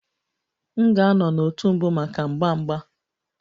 M ga-anọ n'òtù mbụ maka agba agba